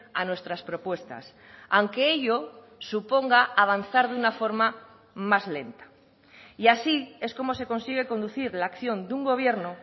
a nuestras propuestas aunque ello suponga avanzar de una forma más lenta y así es como se consigue conducir la acción de un gobierno